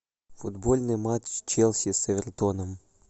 футбольный матч челси с эвертоном